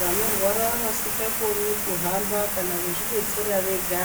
Vanorwara vasingakoni kuhamba kana kuzvidetsera vega